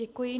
Děkuji.